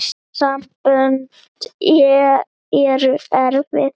Sambönd eru erfið!